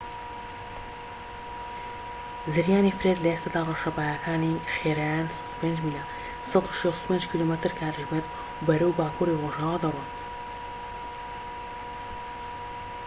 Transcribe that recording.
زریانی فرێد لە ئێستادا ڕەشەباکانی خێراییان ١٠٥ میلە ١٦٥ کیلۆمەتر/کاتژمێر و بەرەو باکوری ڕۆژئاوا دەڕۆن